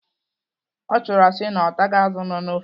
Ọ tụrụ asị na ọ taghị azụ nọ n'ofe.